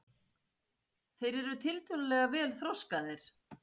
þeir eru tiltölulega vel þroskaðir